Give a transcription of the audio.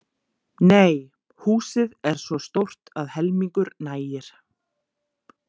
Nei, húsið er svo stórt að helmingur nægir.